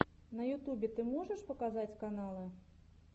на ютубе ты можешь показать каналы